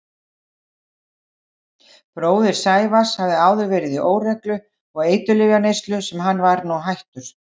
Bróðir Sævars hafði áður verið í óreglu og eiturlyfjaneyslu sem hann var nú hættur.